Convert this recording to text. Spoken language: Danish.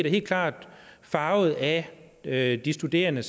helt klart farvet af af de studerende